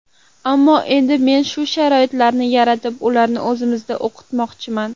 Ammo endi men shu sharoitlarni yaratib, ularni o‘zimizda o‘qitmoqchiman.